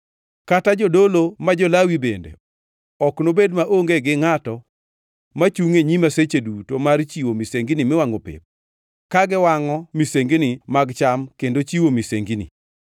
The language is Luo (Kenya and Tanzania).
kata jodolo, ma jo-Lawi, bende ok nobed maonge gi ngʼato machungʼ e nyima seche duto mar chiwo misengini miwangʼo pep, ka giwangʼo misengini mag cham kendo chiwo misengini.’ ”